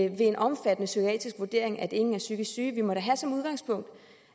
en omfattende psykiatrisk vurdering at ingen er psykisk syge vi må da have som udgangspunkt